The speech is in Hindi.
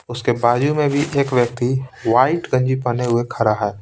उसके बाजू में भी एक व्यक्ति वाइट कंजी पहने हुए खड़ा है।